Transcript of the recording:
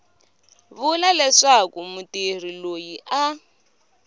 vula leswaku mutirhi loyi a